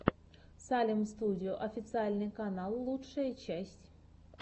салем студио официальный канал лучшая часть